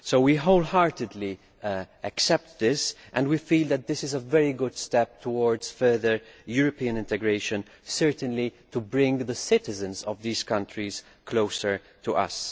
We wholeheartedly accept this and feel that this is a very good step towards further European integration and certainly to bring the citizens of these countries closer to us.